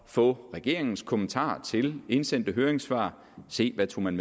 få regeringens kommentarer til indsendte høringssvar at se hvad man